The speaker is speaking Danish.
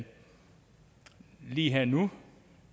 lige nu